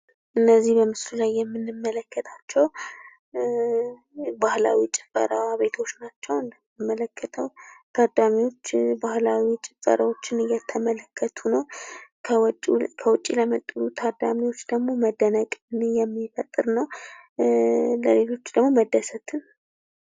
እነዚህ በምስሉ ላይ የምንመለከታቸው ባህላዊ የጭፈራ ቤቶች ናቸው። እንደምንመለከተው ታዳሚዎች የባህላዊ ጭፈራውን እየተመለከቱ ነው። ከውጭ ለመጡ ታዳሚዎች ደግሞ መደነቅን የሚፈጠር ነው ፤ ለሌሎች ደግሞ መደሰትን ይፈጥራል።